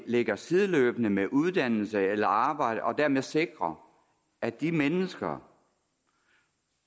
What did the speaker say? ligger sideløbende med uddannelse eller arbejde og dermed sikrer at de mennesker